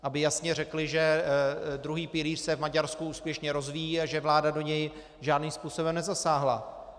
Aby jasně řekli, že druhý pilíř se v Maďarsku úspěšně rozvíjí a že vláda do něj žádným způsobem nezasáhla.